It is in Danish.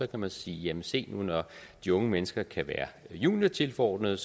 kan man sige jamen se nu når de unge mennesker kan være juniortilforordnede